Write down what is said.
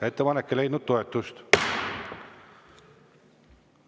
Ettepanek ei leidnud toetust.